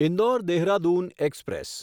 Indore Dehradun express